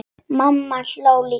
Mamma hló líka.